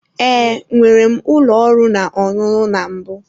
Ee, nwere m ụlọ ọrụ na ọṅụṅụ na mbụ.